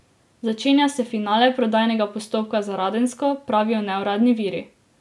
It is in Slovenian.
Začenja se finale prodajnega postopka za Radensko, pravijo neuradni viri.